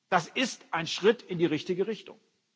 Das ist ein Schritt in die richtige Richtung.